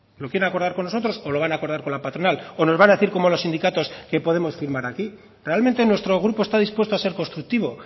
lo quieren acordar con nosotros o lo van a acordar con la patronal o nos van a decir como a los sindicatos que podemos firmar aquí realmente nuestro grupo está dispuesto a ser constructivo